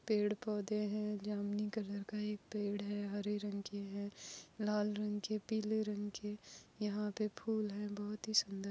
Paid पौधे है जामुनी कलर का एक पेड है हरे रंग के है लाल रंग के पिले रंग के यहाँ पे फुल है बहुत हि सुंदर।